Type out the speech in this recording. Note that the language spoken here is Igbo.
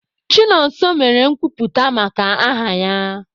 Chinonso mere nkwuputa maka aha ya.